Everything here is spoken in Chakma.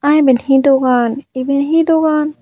aa iban he dogan iban he dogan.